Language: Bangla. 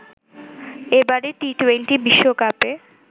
এবারের টি-টোয়েন্টি বিশ্বকাপে